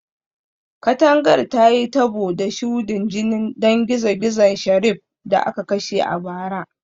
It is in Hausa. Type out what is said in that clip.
Katangar ta yi tabo da shudin jinin dan gizo-gizo Sheriff da aka kashe a bara